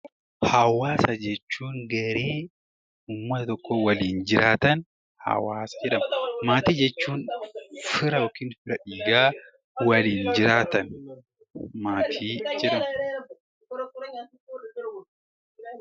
Hawaasa jechuun gareen uummata tokkoo waliin jiraatan hawaasa jedhamu. Maatii jechuun fira yookiin hidda dhiigaa waliin jiraatan maatii jedhamu.